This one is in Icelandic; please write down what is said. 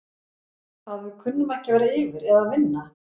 Að við kunnum ekki að vera yfir eða vinna?